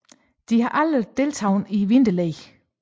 De har aldrig deltaget i vinterlege